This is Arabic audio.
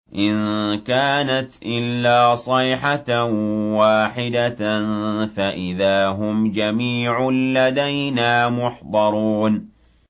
إِن كَانَتْ إِلَّا صَيْحَةً وَاحِدَةً فَإِذَا هُمْ جَمِيعٌ لَّدَيْنَا مُحْضَرُونَ